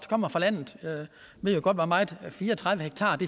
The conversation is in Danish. kommer fra landet ved jo godt hvor meget fire og tredive ha